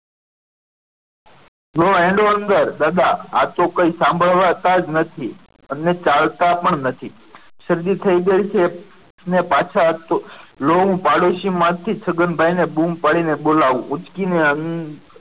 લ્યો હેડો દાદા અંદર આ તો કંઈ સાંભળતા જ નથી અને ચાલતા પણ નથી શરદી થઈ ગઈ છે ને પાછા લ્યો હું પાડોશી માંથી છગનભાઈ ને બુમ પાડીને બોલા ઊંચકીને અંદર